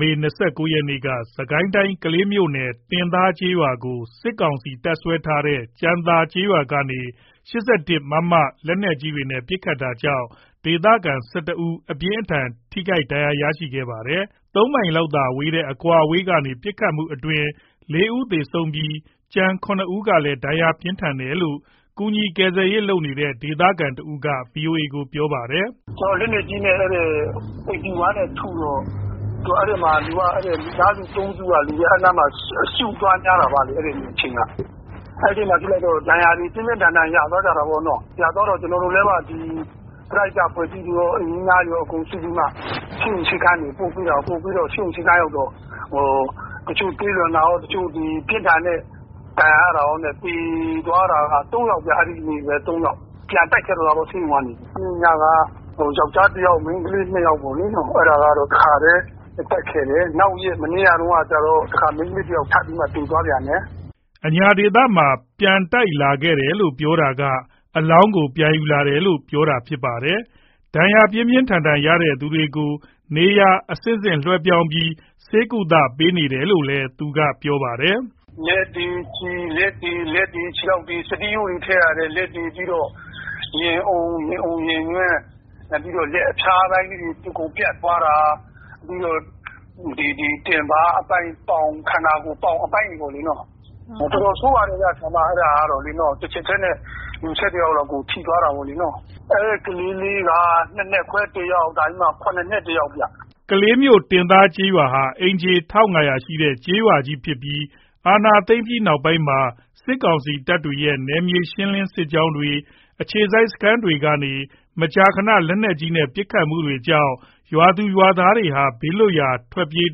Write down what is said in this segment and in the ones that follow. မေလ ၂၉ ရက်နေ့က စစ်ကိုင်းတိုင်း ကလေးမြို့နယ် တင်သားကျေးရွာကို စစ်ကောင်စီတပ်စွဲထားတဲ့ ကြံသာကျေးရွာကနေ မမ လက်နက်ကြီးနဲ့ ပစ်ခတ်တာကြောင့် ဒေသခံ ၁၁ ဦးအပြင်းအထန်ထိခိုက်ဒဏ်ရာရခဲ့ပါတယ်။ ၃ မိုင်လောက်သာကွာတဲ့ အကွာအဝေးကနေ ပစ်ခတ်မှုအတွင်း ၄ ဦးသေဆုံးပြီး ကျန် ၇ ဦးကလဲဒဏ်ရာ ပြင်းထန်တယ်လို့ ကူညီကယ်ဆယ်ရေးလုပ်နေတဲ့ ဒေသခံတဦးက ဗွီအိုအေကိုပြောပါတယ်။ “လက်နက်ကြီးနဲ့ ၈၁ နဲ့ ထုတော့ အဲ့မှာ လူတွေက မိသားစု ၃ စုက အဲ့နားမှာ စုနေတော့ အစုများကြတာပေါ့ အဲ့ဒီအချိန်က၊ အဲ့ဒီမှာ ဒဏ်ရာတွေ ပြင်းပြင်းထန်ထန်ရသွားကြတာပေါ့နော်။ ရသွားတော့ ကျွန်တော်တို့တွေ ပရဟိတအဖွဲ့တွေရော ရွာသူရွာသားတွေရော အကုန် စုပြီးတော့ ဆေးရုံ ဆေးခန်းတွေပို့ ပို့ပြီးတော့ တချို့သွေးလွန်တာရော၊ ပြင်းထန်တဲ့ ဒဏ်ရာတွေရောနဲ့ဆိုတော့ သေသွားတာက ၃ ယောက်ဗျ။ ပြန်တိုက်ခဲ့တော့တာပေါ့ ဆေးရုံက နေပြီးတော့မှ။ အဲ့ညက ယောက်ျားတစ်ယောက် မိန်းကလေးနှစ်ယောက်ပေါ့လေ၊ အဲ့ဒါကတော့ တခါတည်း ပြန်တိုက်ခဲ့တယ်။ မနေ့ကကျတော့ မိန်းကလေးတစ်ယောက် ထပ်ပြီးတော့မှ သေသွားပြန်တယ်။” အညာဒေသမှာ ပြန်တိုက်လာခဲ့တယ်လို့ ပြောတာက အလောင်းကို ပြန်ယူလာတယ်လို့ ပြောတာဖြစ်ပါတယ်။ ဒဏ်ရာပြင်းပြင်းထန်ထန်ရသူတွေကို နေရာ အဆင့်ဆင့်လွှဲပြောင်းပြီး ဆေးကုသပေးနေရတယ်လို့လည်း သူက ပြောပါတယ်။ “လက်တွေ ခြေထောက်တွေ စတီးရိုးတွေ ထည့်ရတယ်၊ ပြီးတော့ ရင်အုံ၊ ရင်ညွှန့်၊ ပြီးတော့ လက်အဖျားပိုင်းလေးတွေ အကုန်ပြတ်သွားတာ။ ပြီးတော့ တင်ပါးအပိုင်း ပေါင်တို့ ခန္ဓာကိုယ် အပိုင်းတွေပေါ့ ပြတ်တာတို့။ တော်တော်ဆိုးပါတယ်ဗျ၊ အဲ့ဒါကတော့ တစ်ချက်တည်းနဲ့ လူ ၁၁ ယောက်လောက်ကို ထိသွားတာပေါ့။ ကလေးလေးကတော့ ၂နှစ်ခွဲ တစ်ယောက် ၇ နှစ်တစ်ယောက်ဗျ။” ကလေးမြို့ တင်သားကျေးရွာဟာ အိမ်ခြေ ၁၅၀၀ ဝန်းကျင်ရှိတဲ့ ကျေးရွာကြီးဖြစ်ပြီး အာဏာသိမ်းပြီးနောက်ပိုင်းမှာ စစ်ကောင်စီတပ်တွေရဲ့ နယ်မြေရှင်း စစ်ကြောင်းတွေ၊ အခြေစိုက်စခန်းတွေကနေ မကြာခဏ လက်နက်ကြီးနဲ့ပစ်ခတ်မှုတွေကြောင့် ရွာသူရွာသားတွေဟာ ဘေးလွတ်ရာ ထွက်ပြေး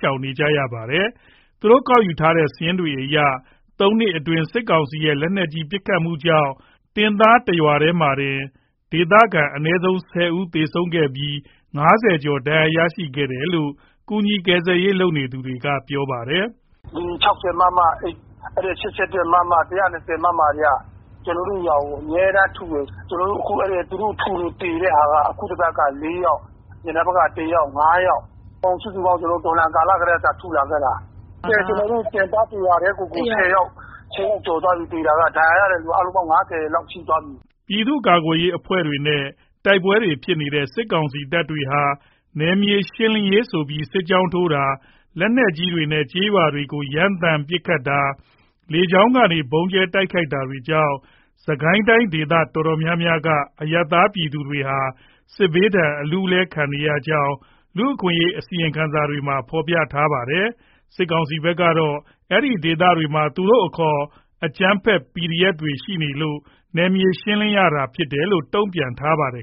ရှောင်တိမ်းနေကြရပါတယ်။ သူတို့ကောက်ယူထားတဲ့ စာရင်းတွေအရ သုံးနှစ်အတွင်း စစ်ကောင်စီရဲ့ လက်နက်ကြီးပစ်ခတ်မှုကြောင့် တင်သားတရွာတည်းမှာတင် ဒေသခံ အနည်းဆုံး ၁၀ ဦးသေဆုံးခဲ့ပြီး ၅၀ ကျော် ဒဏ်ရာ ရခဲ့တယ်လို့ ကူညီကယ်ဆယ်ရေးလုပ်နေသူက ပြောပါတယ်။ “၆၀ မမ၊ ၈၁ မမ၊ ၁၂၀ မမ တွေက ကျွန်တော်တို့ ရွာကို အမြဲတမ်းထုတယ်။ ကျွန်တော်တို့ကို အဲ့လိုထုလို့ သေတဲ့ဟာက အခုတစ်ပတ်ကို ၄ ယောက်၊ အရင်တစ်ပတ်က တစ်ယောက်ဆို ၅ ယောက်၊ စုစုပေါင်းဆိုရင် သူတို့ တော်လှန်ကာလ အစကတည်းက ထုလာခဲ့တာ ကျွန်တော်တို့တင်သား တစ်ရွာတည်းကိုတင် ၁၀ယောက် ကျော်သွားပြီ သေတာက ဒဏ်ရာ ရတဲ့လူက အားလုံးပေါင်းရင် ၅၀ လောက်ရှိသွားပြီ။” ပြည်သူ့ကာကွယ်ရေးအဖွဲ့တွေနဲ့ တိုက်ပွဲတွေဖြစ်နေတဲ့ စစ်ကောင်စီတပ်တွေဟာ စစ်ကောင်စီဟာ နယ်မြေရှင်းလင်းရေးဆိုပြီး စစ်ကြောင်းထိုးတာ၊ လက်နက်ကြီးတွေနဲ့ ကျေးရွာတွေကို ရမ်းသမ်း ပစ်ခတ်တာ၊ လေကြောင်းကနေ ဗုံးကြဲတိုက်ခိုက်တာတွေကြောင့် စစ်ကိုင်းတိုင်းဒေသတော်တော်များများက အရပ်သားပြည်သူတွေဟာ စစ်ဘေးဒဏ်အလူးအလဲခံနေရကြောင်း လူ့အခွင့်အရေးအစီရင်ခံစာတွေမှာ ဖေါ်ပြထားတာပါ။ စစ်ကောင်စီဘက်ကတော့ အဲ့ဒီဒေသတွေမှာ သူတို့အခေါ် အကြမ်းဖက် PDF တွေရှိနေလို့ နယ်မြေရှင်းလင်းရတာဖြစ်တယ်လို့ တုံ့ပြန်ထားပါတယ်